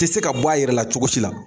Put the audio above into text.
Ti se ka bɔ a yɛrɛ la cogo si la.